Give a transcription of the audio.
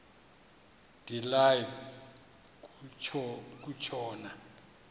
de live kutshona